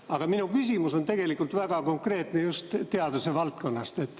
Aga minu küsimus on tegelikult väga konkreetne, just teaduse valdkonnast.